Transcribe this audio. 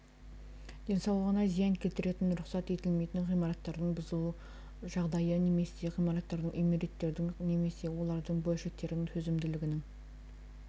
денсаулығына зиян келтіретін рұқсат етілмейтін ғимараттардың бұзылу жағдайы немесе ғимараттардың үймереттердің немесе олардың бөлшектерінің төзімділігінің